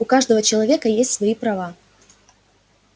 у каждого человека есть свои права